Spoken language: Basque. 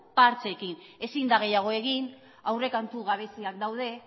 partxeekin ezin da gehiago egin aurrekontu gabeziak daude